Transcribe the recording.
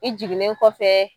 I jiginnen kɔfɛ.